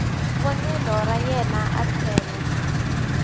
vonelo ra yena a tlhela